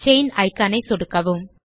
chain icon ஐ சொடுக்கவும்